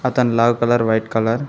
అతని లాగు colour white colour .